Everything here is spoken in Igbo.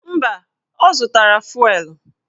Mba, ọ zụtara fụelụ